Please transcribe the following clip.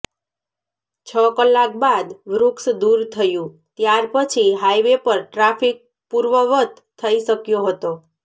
છ કલાક બાદ વૃક્ષ દુર થયું ત્યાર પછી હાઇવે પર ટ્રાફીક પુર્વવત થઇ શક્યો હતો